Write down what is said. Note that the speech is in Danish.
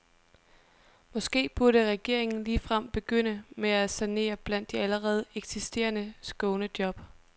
Måske burde regeringen ligefrem begynde med at sanere blandt de allerede eksisterende skånejob.